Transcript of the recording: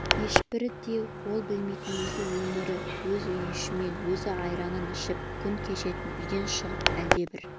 ешбірін де ол білмейтін өз өмірі өз үйішімен өз айранын ішіп күн кешетін үйден шығып әлдебір